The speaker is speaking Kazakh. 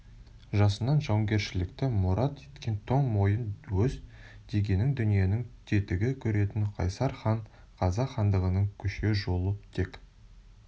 жасынан жауынгершілікті мұрат еткен тоң мойын өз дегенін дүниенің тетігі көретін қайсар хан қазақ хандығының күшею жолы тек